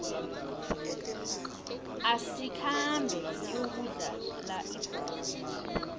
asikhambe siyokudlala ibholo